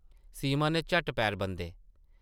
सीमा नै झट्ट पैर बंदे ।